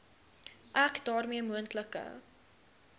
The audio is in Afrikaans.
ek daarmee moontlike